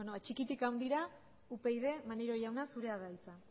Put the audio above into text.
beno txikitik handira upyd maneiro jauna zurea da hitza